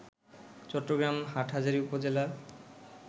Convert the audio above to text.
চট্টগ্রাম হাটহাজারী উপজেলার